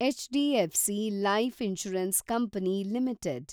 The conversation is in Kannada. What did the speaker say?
HDFC life insurance company limited